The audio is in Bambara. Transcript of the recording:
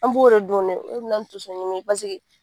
An b'o de dɔn dɛ o le mena ni tonsoɲimi pasiki